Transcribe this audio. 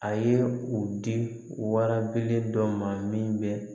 A ye u di wara belebele dɔ ma min bɛ